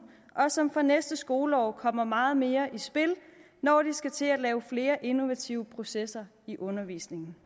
og som fra næste skoleår kommer meget mere i spil når de skal til at lave flere innovative processer i undervisningen